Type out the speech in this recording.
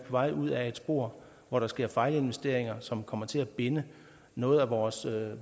vej ud ad et spor hvor der sker fejlinvesteringer som kommer til at binde noget af vores